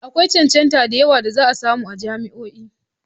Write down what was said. Akwai cancantar cancanta da yawa da za a samu a jami'o'i.